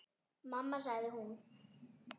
Mamma sagði hún.